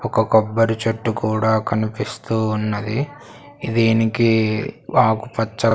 ఒక కొబ్బరి చెట్టు కూడా కనిపిస్తూ ఉన్నది దీనికి ఆకు పచ్చ.